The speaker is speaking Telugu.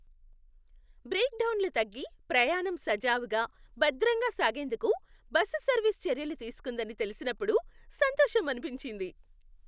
బ్రేక్డౌన్లు తగ్గి, ప్రయాణం సజావుగా, భద్రంగా సాగేందుకు బస్సు సర్వీస్ చర్యలు తీసుకుందని తెలిసినప్పుడు సంతోషమనిపించింది.